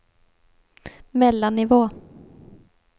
mellannivå